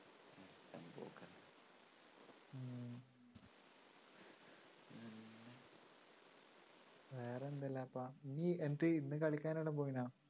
വേറെന്തെല്ലാപ്പ നീയ് എന്നിട്ട് ഇന്ന് കളിക്കാൻഎവിടേലും പോയിരുന്നോ?